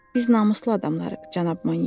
Biz namuslu adamlarıq, cənab Monyer.